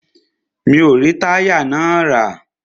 Mi o rí táyà náà rà.